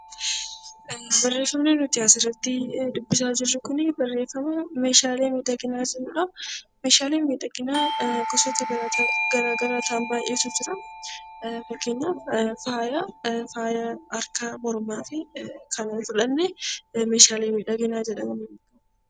Barreeffamni nuti as irratti dubbisaa jirru kunii barreeffama 'Meeshaalee miidhaginaa' jedhu dha. Meeshaaleen miidhaginaa gosoota garaa garaa ta'an baay'eetu jiru. Fakkeenyaaf Faaya Harkaa, Mormaa fi kana yoo fudhanne 'Meeshaalee miidhaginaa' jedhamu.